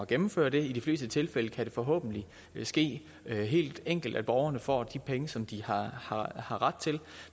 gennemføre det i de fleste tilfælde kan det forhåbentlig ske helt enkelt så borgerne får de penge som de har ret til